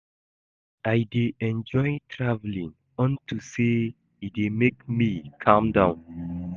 I dey enjoy traveling unto say e dey make me calm down